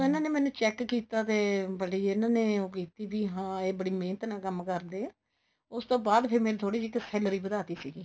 ਇਹਨਾ ਨੇ ਮੈਨੂੰ check ਕੀਤਾ ਤੇ ਬੜੀ ਇਹਨਾ ਨੇ ਬੜੀ ਉਹ ਕੀਤੀ ਬੀ ਹਾਂ ਇਹ ਬੜੀ ਮਿਹਨਤ ਨਾਲ ਕੰਮ ਕਰਦੇ ਏ ਉਸ ਤੋਂ ਬਾਅਦ ਫੇਰ ਮੈਨੂੰ ਥੋੜੀ ਜੀ salary ਵੱਧਾ ਤੀ ਸੀਗੀ